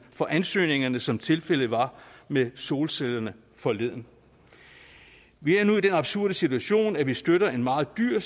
for ansøgningerne som tilfældet var med solcellerne forleden vi er nu i den absurde situation at vi støtter en meget dyr